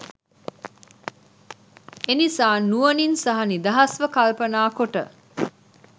එනිසා නුවණින් සහ නිදහස්ව කල්පනා කොට